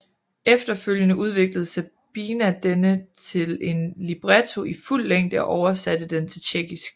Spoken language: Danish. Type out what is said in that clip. Efterfølgende udviklede Sabina denne til en libretto i fuld længde og oversatte den til tjekkisk